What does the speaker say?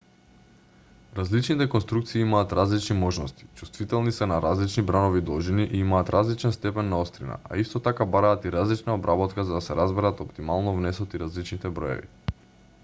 различните конструкции имаат различни можности чувствителни се на различни бранови должини и имаат различен степен на острина а исто така бараат и различна обработка за да се разберат оптимално внесот и различните броеви